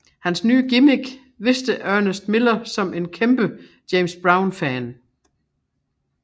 Hans nye gimmick vidste Ernest Miller som en kæmpe James Brown fan